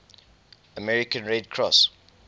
american red cross